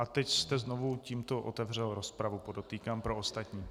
A teď jste znovu tímto otevřel rozpravu, podotýkám pro ostatní.